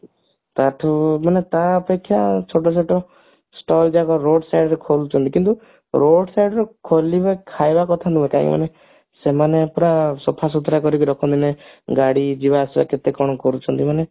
ତାଠୁ ମାନେ ତା ଅପେକ୍ଷା ଛୋଟ ଛୋଟ stall ଯାକ road side ରେ ଖୋଲୁଛନ୍ତି କିନ୍ତୁ road side ରେ ଖୋଲିବା ଖାଇବା କଥା ନୁହଁ କାହିଁକି ମାନେ ସେମାନେ ପୁରା ସଫସୁତୁରା କରିକି ରଖନ୍ତି ନି ଗାଡି ଯିବା ଆସିବା କେତେକଣ କରୁଛନ୍ତି ମାନେ